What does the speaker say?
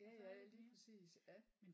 Ja ja lige præcis ja